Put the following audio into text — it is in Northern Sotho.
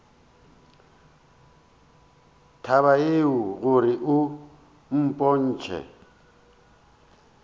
taba yeo gore o mpotše